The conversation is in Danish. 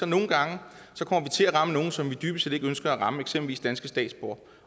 nogle gange til at ramme nogle som man dybest set ikke ønsker at ramme eksempelvis danske statsborgere